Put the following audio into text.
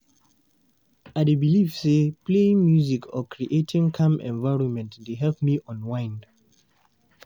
I dey believe say playing music or creating calming environment dey help me unwind.